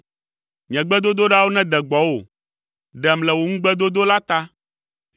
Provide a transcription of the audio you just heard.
Nye gbedodoɖawo nede gbɔwò; ɖem le wò ŋugbedodo la ta.